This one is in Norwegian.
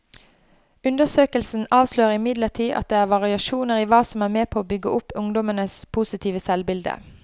Undersøkelsen avslører imidlertid at det er variasjoner i hva som er med på å bygge opp ungdommenes positive selvbilde.